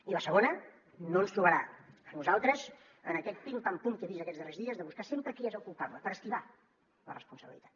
i la segona no ens trobarà a nosaltres en aquest pim pam pum que he vist aquests darrers dies de buscar sempre qui és el culpable per esquivar la responsabilitat